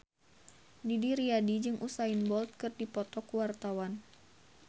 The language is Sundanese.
Didi Riyadi jeung Usain Bolt keur dipoto ku wartawan